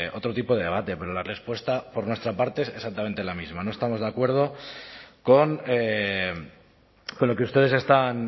otro tipo de debate pero la respuesta por nuestra parte es exactamente la misma no estamos de acuerdo con lo que ustedes están